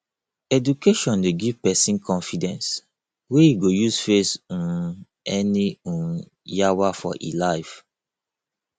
education dey give pesin confidence wey e go use face um any um yawa for e life